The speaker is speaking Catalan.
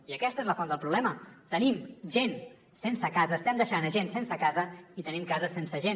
i aquesta és la font del problema tenim gent sense casa estem deixant gent sense casa i tenim cases sense gent